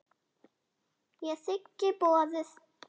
Ég þigg boðið.